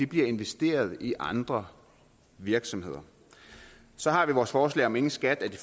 bliver investeret i andre virksomheder så har vi vores forslag om ingen skat af de